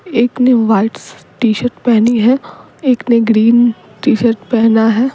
एक ने वाइट स टी-शर्ट पहनी है एक ने ग्रीन टी-शर्ट पहना है।